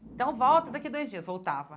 Então, volta, daqui a dois dias, voltava.